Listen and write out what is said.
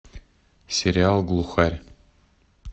сериал глухарь